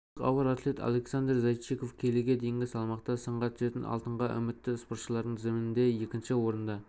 қазақстандық ауыр атлет александр зайчиков келіге дейінгі салмақта сынға түсетін алтынға үмітті спортшылардың тізімінде екінші орында